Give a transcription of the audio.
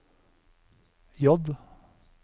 J